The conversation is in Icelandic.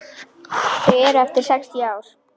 Þau eru eftir sextíu ár.